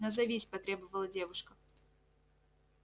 назовись потребовала девушка